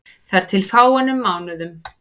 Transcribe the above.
Þar til fyrir fáeinum mánuðum.